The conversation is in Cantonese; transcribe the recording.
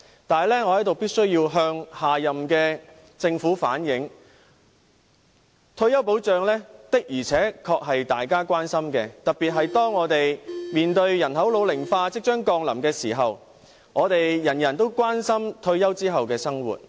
不過，我在此必須向下屆政府反映，退休保障的確是大家所關注的，特別是當我們面對人口老齡化即將降臨時，我們所有人均關注退休後的生活。